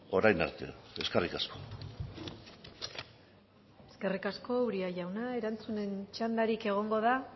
orain arte eskerrik asko eskerrik asko uria jauna erantzunen txandarik egongo da